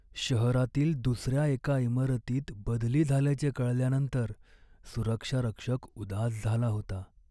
शहरातील दुसऱ्या एका इमारतीत बदली झाल्याचे कळल्यानंतर सुरक्षा रक्षक उदास झाला होता.